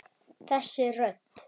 Þessi rödd!